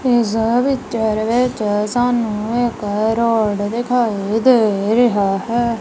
ਇਸ ਪਿਚਰ ਵਿੱਚ ਸਾਨੂੰ ਇੱਕ ਰੋਡ ਦਿਖਾਈ ਦੇ ਰਿਹਾ ਹੈ।